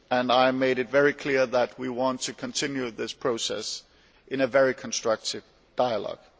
I made it very clear that we want to continue this process in a very constructive dialogue.